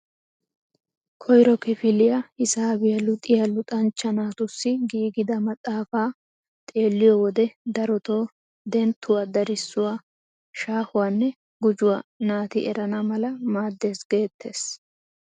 Koyto kifiliyaa hisaabiyaa luxiyaa luxanchcha naatussi giigida maxafaa xeelliyoo wode darotoo denttuwaa darissuwaa shahuwanne gujuwaa naati erana mala maaddees geettees!